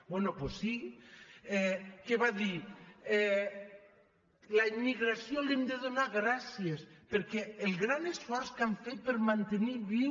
bé doncs sí que va dir a la immigració li hem de donar gràcies pel gran esforç que han fet per mantenir viu